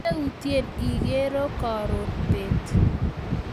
meutie ikero karon beet